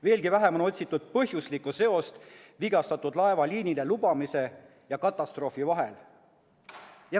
Veelgi vähem on otsitud põhjuslikku seost vigastatud laeva liinile lubamise ja katastroofi vahel.